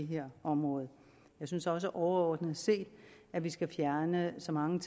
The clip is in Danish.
her område jeg synes også overordnet set at vi skal fjerne så mange